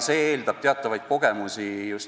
See eeldab just nimelt teatavaid kogemusi.